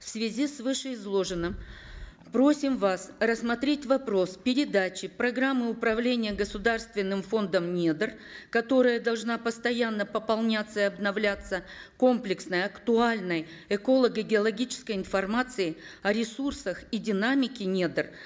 в связи с вышеизложенным просим вас рассмотреть вопрос передачи программы управления государственным фондом недр которая должна постоянно пополняться и обновляться комплексной актуальной эколого геологической информацией о ресурсах и динамике недр